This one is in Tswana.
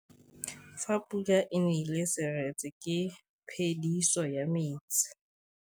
Fa pula e nelê serêtsê ke phêdisô ya metsi.